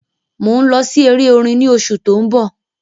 mọ ń lọ sí èrè orin ní oṣù to ń bó